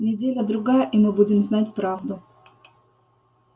неделя-другая и мы будем знать правду